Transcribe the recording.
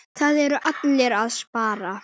Það eru allir að spara.